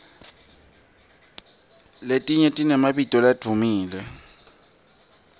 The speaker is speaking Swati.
letinye tinemabito ladvumile